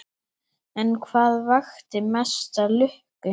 En hvað vakti mesta lukku?